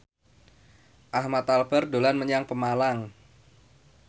Ahmad Albar dolan menyang Pemalang